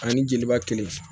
Ani jeliba kelen